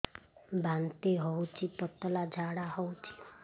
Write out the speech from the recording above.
ବାନ୍ତି ହଉଚି ପତଳା ଝାଡା ହଉଚି